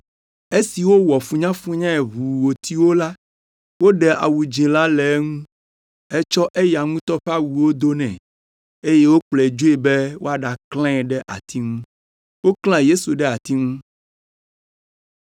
Esi wowɔ funyafunyae ʋuu wòti wo la, woɖe awu dzĩ la le eŋu hetsɔ eya ŋutɔ ƒe awuwo do nɛ eye wokplɔe dzoe be yewoaɖaklãe ɖe ati ŋu.